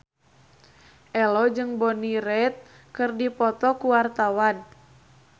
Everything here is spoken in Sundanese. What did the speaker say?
Ello jeung Bonnie Wright keur dipoto ku wartawan